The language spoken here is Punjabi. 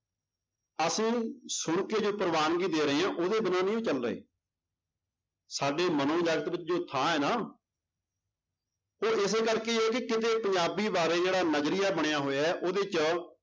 ਅਸੀਂ ਸੁਣਕੇ ਜੋ ਪ੍ਰਵਾਨਗੀ ਦੇ ਰਹੇ ਹਾਂ ਉਹਦੇ ਬਿਨਾਂ ਨੀ ਉਹ ਚੱਲ ਰਹੇ ਸਾਡੇ ਜੋ ਥਾਂ ਹੈ ਨਾ ਉਹ ਇਸੇ ਕਰਕੇ ਪੰਜਾਬੀ ਬਾਰੇ ਜਿਹੜਾ ਨਜ਼ਰੀਆ ਬਣਿਆ ਹੋਇਆ ਹੈ ਉਹਦੇ 'ਚ